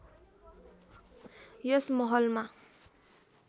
यस महलमा